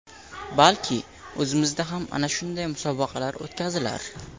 Balki, o‘zimizda ham ana shunday musobaqalar o‘tkazilar.